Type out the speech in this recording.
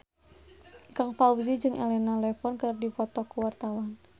Ikang Fawzi jeung Elena Levon keur dipoto ku wartawan